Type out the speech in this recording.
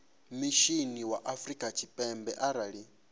mishinini wa afrika tshipembe arali